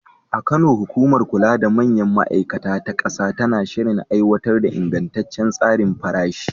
A Kano, hukumar kula da manyan ma’aikata ta ƙasa tana shirin aiwatar da ingantaccen tsarin farashi.